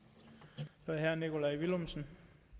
funktion